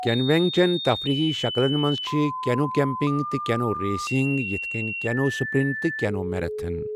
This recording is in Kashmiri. کینوینگ چٮ۪ن تفریٖحی شکلن منٛز چھِ کینو کیمپنگ تہٕ کینو ریسنگ یِتھ کٔنۍ کینو سپرنٹ تہٕ کینو میراتھن۔